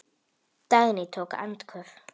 Dagný tók andköf.